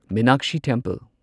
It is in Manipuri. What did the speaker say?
ꯃꯤꯅꯥꯛꯁꯤ ꯇꯦꯝꯄꯜ